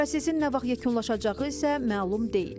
Prosesin nə vaxt yekunlaşacağı isə məlum deyil.